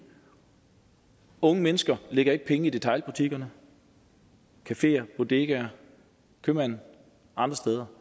unge mennesker lægger ikke penge i detailbutikkerne cafeerne bodegaerne købmanden andre steder